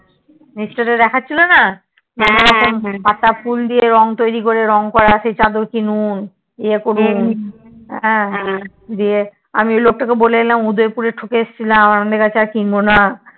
নীচটাতে দেখাচ্ছিল না কতরকম পাতা ফুল দিয়ে রং তৈরী করে রং করা সেই চাদর কিনুন ইয়ে করুন আমি সেই লোকটাকে বলে এলাম উদয়পুরে ঠকে আসছিলাম আপনার কাছে আর কিনবোনা